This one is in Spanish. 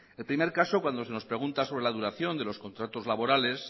el primer caso cuando se nos pregunta sobre la duración de los contratos laborales